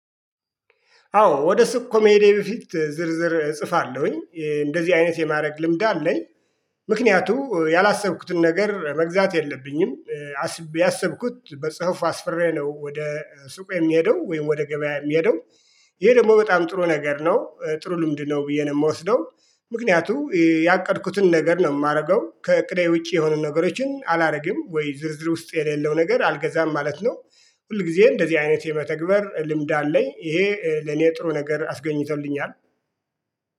አዎ ወደ ሱቅ ከመሄዴ በፊት ዝርዝር እጽፋለሁኝ። እንደዚህ አይነት የማድረግ ልምድ አለኝ። ምክንያቱ ያላሰብኩትን ነገር መግዛት የለብኝም። ያሰብኩት በጽሁፍ አስፍሬ ነው ወደ ሱቅ የምሄደው ወይም ወደ ገበያ የምሄደው። ይሄ ደግሞ በጣም ጥሩ ነገር ነው። ጥሩ ልምድ ነው ብዬ ነው የምወስደው። ምክንያቱ ያቀድኩትን ነገር ነው የማደርገው። ከእቅዴ ውጪ የሆኑ ነገሮችን አላደርግም ወይ ዝርዝር ውስጥ የሌለው ነገር አልገዛም ማለት ነው። ሁል ጊዜ እንደዚህ አይነት የመተግበር ልምድ አለኝ። ይሄ ለኔ ጥሩ ነገር አስገኝቶልኛል።